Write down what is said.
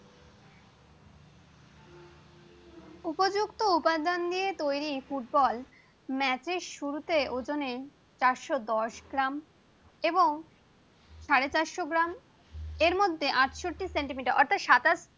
কতগুলো উপাদান নিয়ে ফুটবল তৈরি ফুটবল ম্যাচ এর শুরুতে চারশ দশ গ্রাম এবং সাড়ে চারশ গ্রাম এরমধ্যে আটষট্টি সেন্টিমিটার অর্থাৎ সাতাশ